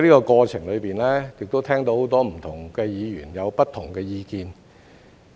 過程中，我亦聽到很多不同的議員有不同的意見。